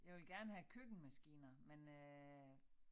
Jeg ville gerne have køkkenmaskiner men øh